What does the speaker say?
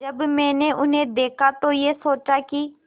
जब मैंने उन्हें देखा तो ये सोचा कि